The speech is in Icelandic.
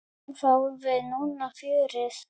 Fáum við núna fjörið?